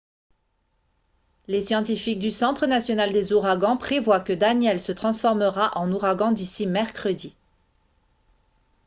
les scientifiques du centre national des ouragans prévoient que danielle se transformera en ouragan d'ici mercredi